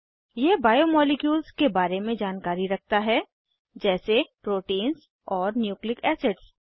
यह बायोमॉलिक्यूल्स के बारे में जानकारी रखता है जैसे प्रोटीन्स और न्यूक्लिक एसिड्स